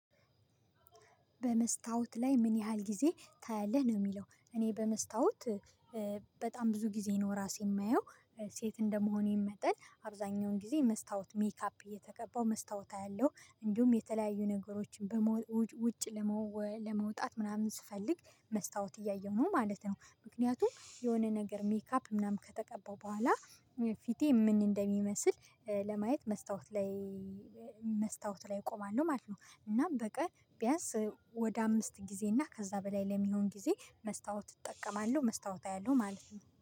በመስታወት ላይ ምን ያህል ጊዜ ታያለህ? ነው የሚለው እኔ በመስታወት በጣም ብዙ ጊዜ ነው ራሴ የማየው ሴት እንደመሆኔ መጠን አብዛኛውን ጊዜ መስታወት ሜካፕ እየተቀባው መስታወት አያለው እንዲሁም የተለያዩ ነገሮችን በመውጣት ውጭ ለመውጣት ምናምን ስፈልግ መስታወት እያየሁ ነው ማለት ነው ምክንያቱም የሆነ ነገር ሜካፕ ምናምን ከተቀባው በኋላ ፊቴ ምን እንደሚመስል ለማየት መስታወት ላይ መስታወት ላይ እቆማለሁ ማለት ነው እና በቀን ቢያንስ ወደ አምስት ጊዜ እና ከዛ በላይ ለሚሆን ጊዜ መስታወት እጠቀማለሁ መስታወት አያለሁ ማለት ነው።